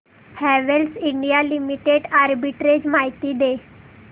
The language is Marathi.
हॅवेल्स इंडिया लिमिटेड आर्बिट्रेज माहिती दे